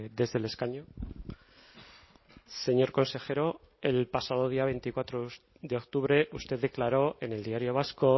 desde el escaño señor consejero el pasado día veinticuatro de octubre usted declaro en el diario vasco